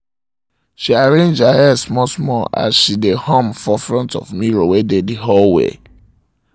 she arrange her hair small-small as um she um dae hum for front of mirror wae dae the hallway